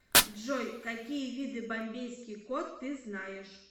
джой какие виды бомбейский кот ты знаешь